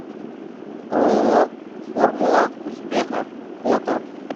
ооо формула успеха фото